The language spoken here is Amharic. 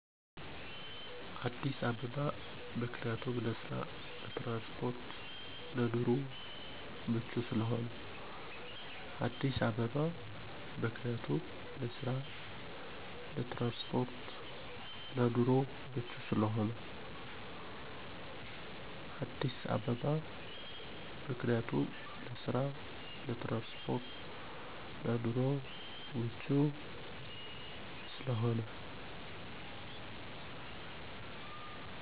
አዲስ አባበባ ምክንያቱም ለስራ ለትራንስፖርት ለኑሮ ምቹ ስለሆነ